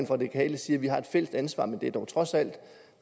radikale siger at vi har et fælles ansvar men det er dog trods alt